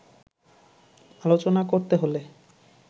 আলোচনা করতে হলে